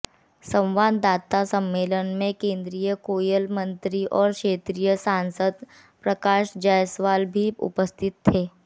संवाददाता सम्मेलन में केंद्रीय कोयला मंत्री और क्षेत्रीय सांसद प्रकाश जायसवाल भी उपस्थित थे